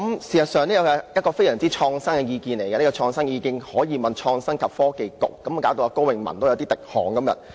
事實上，這是非常創新的意見，這創新意見可讓創新及科技局接受質詢，令高永文今天也有點滴汗。